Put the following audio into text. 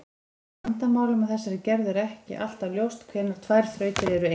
Í vandamálum af þessari gerð er ekki alltaf ljóst hvenær tvær þrautir eru eins.